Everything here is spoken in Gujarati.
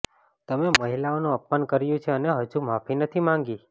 તમે મહિલાઓનું અપમાન કર્યું છે અને હજુ માફી નથી માંગી